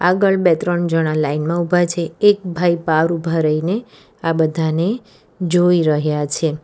આગળ બે ત્રણ જણા લાઈન માં ઊભા છે એક ભાઈ પાર ઉભા રહીને આ બધાને જોઈ રહ્યા છે.